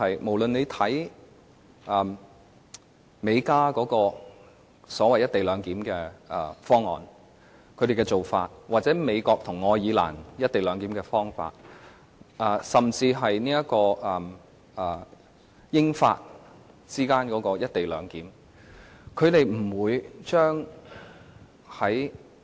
無論看美國和加拿大的所謂"一地兩檢"方案和做法，或美國和愛爾蘭的"一地兩檢"方法，甚至英國和法國之間的"一地兩檢"方法均不是這樣的。